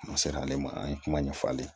N'a sera ale ma an ye kuma ɲɛfɔ ale ye